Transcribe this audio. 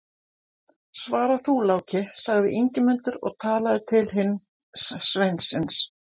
Svara þú, Láki, sagði Ingimundur og talaði til hins sveinsins.